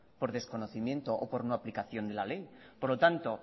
por desconocimiento o por no aplicación de la ley por lo tanto